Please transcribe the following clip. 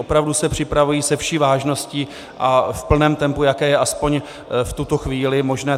Opravdu se připravují se vší vážností a v plném tempu, jaké je aspoň v tuto chvíli možné.